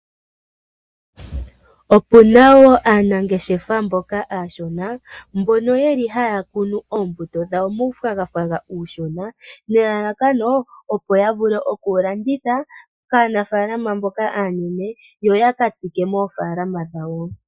Opu na wo aanangeshefa mboka aashona mbono ye li haya kunu oombuto dhawo muunayilona uushona, nelalakano ya vule oku wu landitha kaanafalama mboka aanene yoya ka tsike moofalama dhawo.